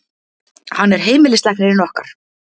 Hann er heimilislæknirinn okkar.